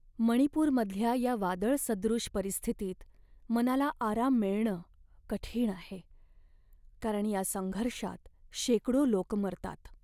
मणिपूरमधल्या या वादळसदृश परिस्थितीत मनाला आराम मिळणं कठीण आहे, कारण या संघर्षात शेकडो लोक मरतात.